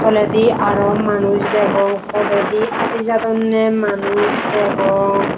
toledi aro manuj degong podedi adijadonney manuj degong.